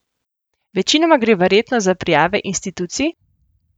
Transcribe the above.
Večinoma gre verjetno za prijave institucij?